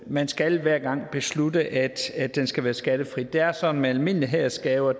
man skal hver gang beslutte at den skal være skattefri det er sådan med almindelige hædersgaver at